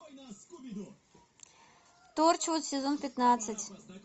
торчвуд сезон пятнадцать